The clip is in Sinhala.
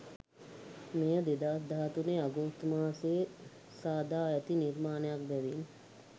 මෙය 2013 අගෝස්තු මාසයේ සාදා ඇති නිර්මාණයක් බැවින්